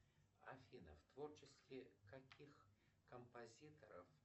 афина в творчестве каких композиторов